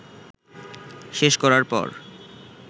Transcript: শেষ করার পর